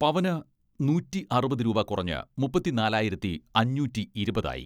പവന് നൂറ്റി അറുപത് രൂപ കുറഞ്ഞ് മുപ്പത്തിനാലായിരത്തി അഞ്ഞൂറ്റി ഇരുപത് ആയി.